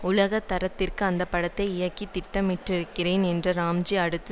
உலக தரத்திற்கு அந்த படத்தை இயக்க திட்டமிட்டிருக்கிறேன் என்ற ராம்ஜி அடுத்து